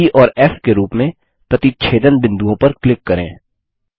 ई और फ़ के रूप में प्रतिच्छेदन बिंदुओं पर क्लिक करें